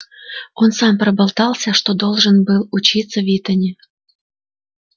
он сам проболтался что должен был учиться в итоне